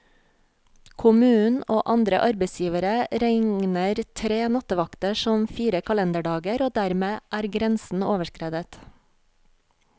Kommunen og andre arbeidsgivere regner tre nattevakter som fire kalenderdager, og dermed er grensen overskredet.